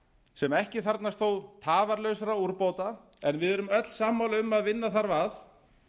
sem ekki þarfnast þó tafarlausra úrbóta en við erum öll sammála um að vinna þarf að